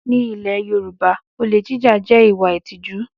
Ní ilẹ̀ Yorùbá, olè jíjà jẹ́ ìwà ìtìjú